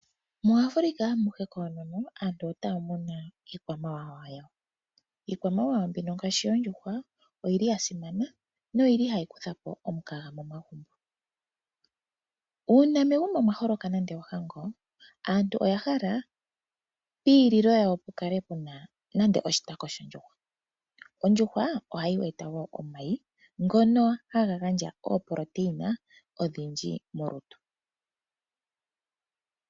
MuAfrika amuhe koonono, aantu otaya muna iikwamawawa yawo. Iikwamawawa mbino ngaashi yoondjuhwa oyi li ya simana, noyi li hayi kutha po omukaga momagumbo. Uuna megumbo mwa holoka nande ohango, aantu oya hala piililo yawo pu kale pu na nande oshitako shondjuhwa. Ondjuhwa ohayi eta omayi, ngono haga gandja iitungithi oyindji molutu.